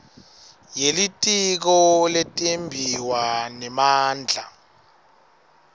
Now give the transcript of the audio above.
yelitiko letimbiwa nemandla